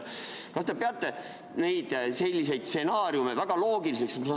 Kas te peate selliseid stsenaariume väga loogiliseks?